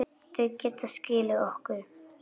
Þau geta skilið ykkur.